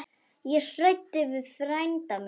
Ég ræddi við frænda minn.